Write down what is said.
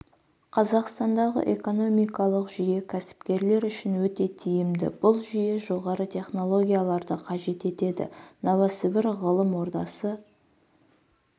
қазақстандағы экономикалық жүйе кәсіпкерлер үшін өте тиімді бұл жүйе жоғары технологияларды қажет етеді новосібір ғылым ордасы